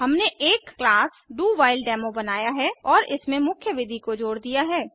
हमने एक क्लास डोव्हिलेडेमो बनाया है और इसमें मुख्य विधि को जोड़ दिया है